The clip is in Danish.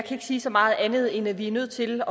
sige så meget andet end at vi er nødt til